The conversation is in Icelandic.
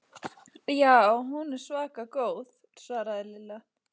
Já, hún er svaka góð svaraði Lilla.